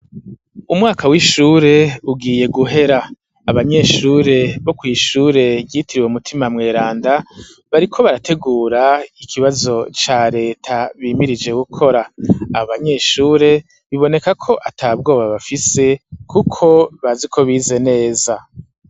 Umwaka w'ishure ugiye guhera. Abanyeshure bo kw'ishure ryitiriwe Mutima Mweranda bariko barategura ikibazo ca reta bimirije gukora. Abanyeshure biboneka ko ata bwoba bafise kuko bazi ko bize neza.